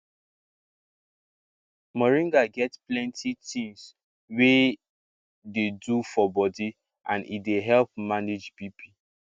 moringa get plenty things wey dey do beta for body and e dey help manage bp